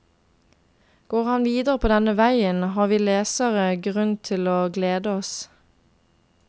Går han videre på denne veien har vi lesere grunn til å glede oss.